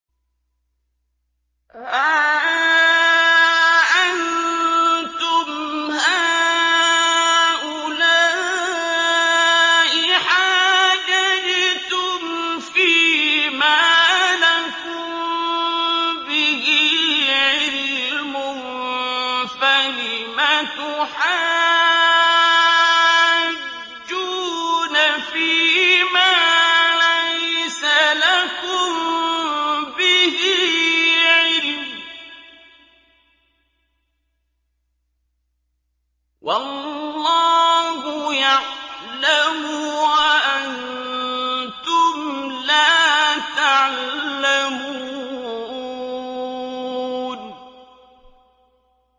هَا أَنتُمْ هَٰؤُلَاءِ حَاجَجْتُمْ فِيمَا لَكُم بِهِ عِلْمٌ فَلِمَ تُحَاجُّونَ فِيمَا لَيْسَ لَكُم بِهِ عِلْمٌ ۚ وَاللَّهُ يَعْلَمُ وَأَنتُمْ لَا تَعْلَمُونَ